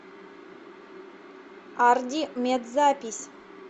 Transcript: арди мед запись